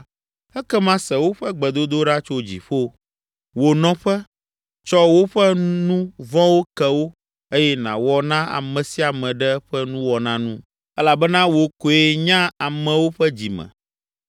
ekema se woƒe gbedodoɖa tso dziƒo, wò nɔƒe, tsɔ woƒe nu vɔ̃wo ke wo eye nàwɔ na ame sia ame ɖe eƒe nuwɔna nu (elabena wò koe nya amewo ƒe dzi me),